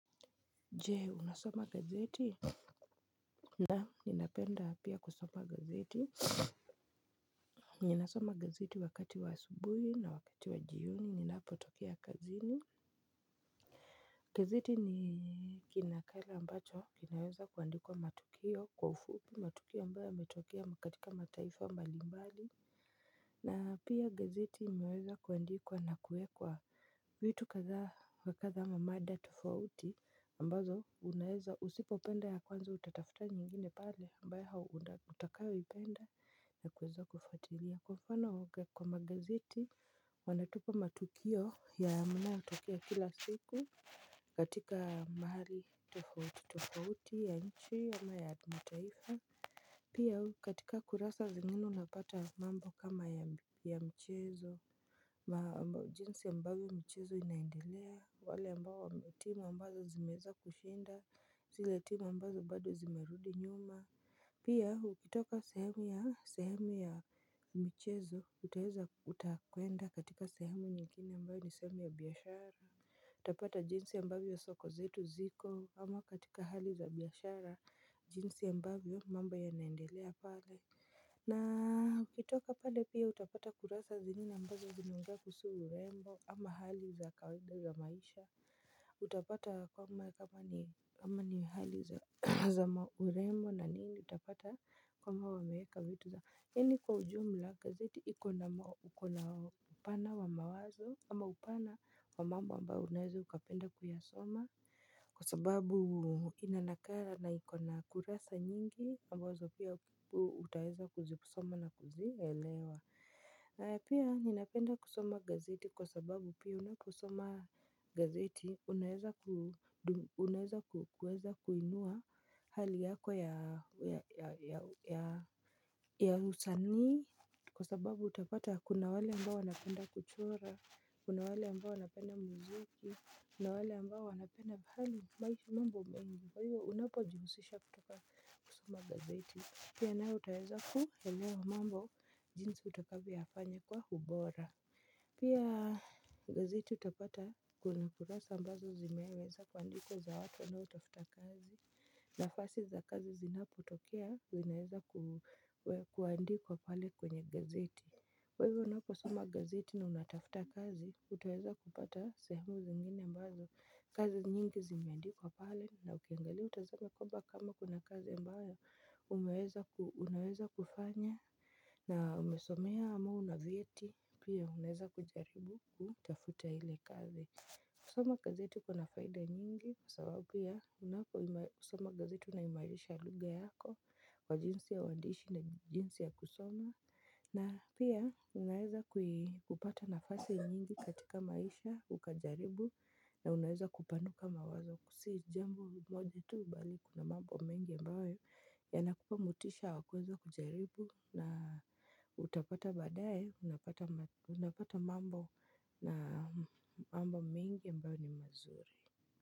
Je, unasoma gazeti? Naam, ninapenda pia kusoma gazeti Ninasoma gazeti wakati wa asubuhi na wakati wa jioni ninapotokea kazini, gazeti ni kinakala ambacho kinaweza kuandikwa matukio kwa ufupi, matukio ambayo yametokea katika mataifa mbalimbali. Na pia gazeti imeweza kuandikwa na kuekwa vitu kadha wa kadha ama mada tofauti ambazo unaeza usipopenda ya kwanza utatafuta nyingine pale ambayo utakayo ipenda na kuweza kufuatilia. Kwa mfano huwaga kwa magazeti wanatupa matukio yanayotokea kila siku katika mahali tofauti tofauti ya nchi ama ya mataifa Pia katika kurasa zingine unapata mambo kama ya mchezo, jinsi ambavyo mchezo inaendelea, wale ambao timu ambazo zimeweza kushinda, zile timu ambazo bado zimerudi nyuma Pia, ukitoka sehemu ya sehemu ya michezo, utaweza utakwenda katika sehemu nyingine ambayo ni sehemu ya biashara. Utapata jinsi ambavyo soko zetu ziko, ama katika hali za biashara, jinsi ambavyo mambo yanaendelea pale na ukitoka pale pia utapata kurasa zingine ambazo zinaongea kuhusu urembo ama hali za kawaida za maisha Utapata kwamba kama ni hali za urembo na nini utapata kwamba wameweka vitu za. Yaani kwa ujumla gazeti iko na uko na upana wa mawazo ama upana wa mambo ambayo unaeza ukapenda kuyasoma kwa sababu ina nakala na iko na kurasa nyingi ambazo pia utaweza kuzisoma na kuzielewa. Na pia ninapenda kusoma gazeti kwa sababu pia unaposoma gazeti unaweza kuweza kuinua hali yako ya usanii kwa sababu utapata kuna wale ambao wanapenda kuchora, kuna wale ambao wanapenda muziki, kuna wale ambao wanapenda hali mambo mengi. Kwa hiyo unapojihusisha katika kusoma gazeti, pia nawe utaweza kuelewa mambo jinsi utakavyoyafanya kwa ubora. Pia gazeti utapata kuna kurasa ambazo zimeweza kuandikwa za watu wanaotafuta kazi nafasi za kazi zinapotokea unaweza kuandikwa pale kwenye gazeti. Kwa hivyo unaposoma gazeti na unatafuta kazi, utaweza kupata sehemu zingine ambazo kazi nyingi zimeandikwa pale na ukiangalia utazame kwamba kama kuna kazi mbayo unaweza kufanya na umesomea ama una vyeti pia, unaweza kujaribu kutafuta ile kazi. Kusoma gazeti kuna faida nyingi. Kwa sababu pia, unaposoma gazeti unaimarisha lugha yako kwa jinsi ya uandishi na jinsi ya kusoma. Na pia, unaweza kupata nafasi nyingi katika maisha, ukajaribu. Na unaweza kupanuka mawazo si jambo moja tu bali kuna mambo mengi ambayo yanakupa motisha wa kuweza kujaribu. Na utapata baadaye, unapata mambo mengi ambayo ni mazuri.